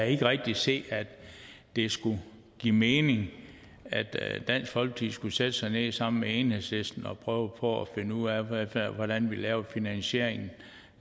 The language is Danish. ikke rigtig se at det skulle give mening at at dansk folkeparti skulle sætte sig ned sammen med enhedslisten og prøve på at finde ud af af hvordan vi laver finansieringen